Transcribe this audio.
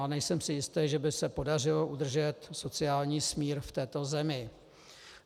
A nejsem si jist, že by se podařilo udržet sociální smír v této zemi.